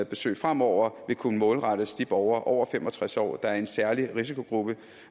besøg fremover vil kunne målrettes de borgere over fem og tres år der er i en særlig risikogruppe